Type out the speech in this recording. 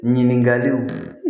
Ɲininkaliw